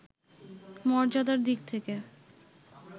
মর্যাদার দিক থেকে